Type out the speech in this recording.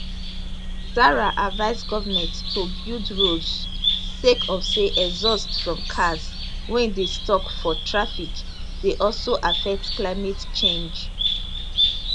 zahra advise goment to build roads sake of say exhaust from cars wey dey stuck for traffic dey also affect climate change